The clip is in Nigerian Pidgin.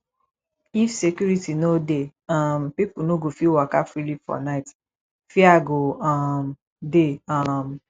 if security no dey um pipo no go fit waka freely for night fear go um dey um